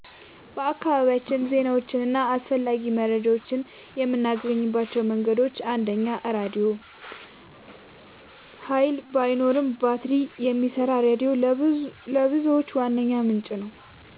በአካባቢያችን ዜናዎችን እና አስፈላጊ መረጃዎችን የምናገኝባቸው መንገዶች፦ 1. ራድዮ – ኃይል ባይኖርም በባትሪ የሚሰራ ሬዲዮ ለብዙዎች ዋነኛ ምንጭ ነው፣